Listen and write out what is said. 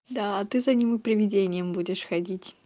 да ты за ним и приведением будешь ходить